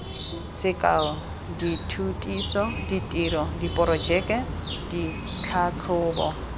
sekao dithutiso ditiro diporojeke ditlhatlhobo